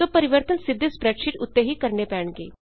ਸੋ ਪਰਿਵਰਤਨ ਸਿੱਧੇ ਸਪ੍ਰੈਡਸ਼ੀਟ ਉੱਤੇ ਹੀ ਕਰਣੇ ਪੈਣਗੇ